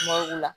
Ma o la